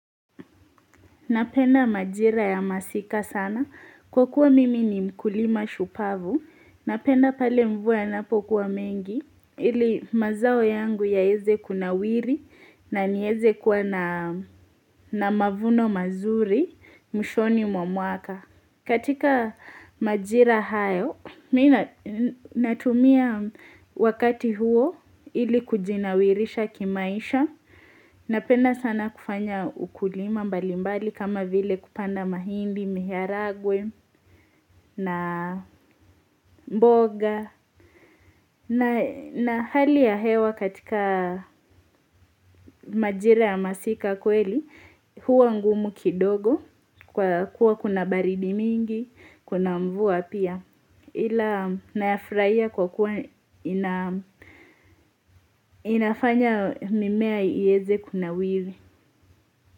Napenda majira ya masika sana. Kwa kuwa mimi ni mkulima shupavu, napenda pale mvua yanapokuwa mengi, ili mazao yangu yaeze kunawiri na nieze kuwa na mavuno mazuri, mwishoni mwa mwaka. Katika majira hayo, mimi natumia wakati huo ili kujinawirisha kimaisha, napenda sana kufanya ukulima mbali mbali kama vile kupanda mahindi, miharagwe na mboga. Na hali ya hewa katika majira ya masika kweli, huwa ngumu kidogo kwa kuwa kuna baridi mingi, kuna mvua pia. Ila nayafurahia kwa kuwa inafanya mimea ieze kunawiri.